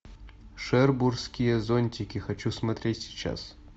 шербурские зонтики хочу смотреть сейчас